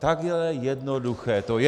Takhle jednoduché to je.